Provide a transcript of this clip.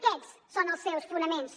aquests són els seus fonaments